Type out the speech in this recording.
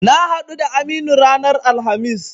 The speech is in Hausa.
Na haɗu da Aminu ranar Alhamis.